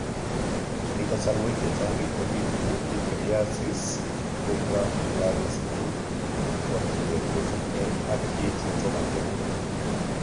Eng' kasarwek chechang' kobitu pityriasis rubra pilaris eng' chokchinet kosubkei ak kiit netomo kenai